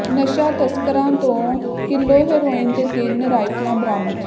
ਨਸ਼ਾ ਤਸਕਰਾਂ ਤੋਂ ਕਿਲੋ ਹੈਰੋਇਨ ਤੇ ਤਿੰਨ ਰਾਈਫਲਾਂ ਬਰਾਮਦ